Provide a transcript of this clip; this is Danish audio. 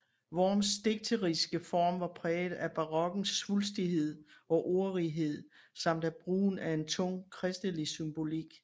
Worms digteriske form var præget af barokkens svulstighed og ordrighed samt af brugen af en tung kristelig symbolik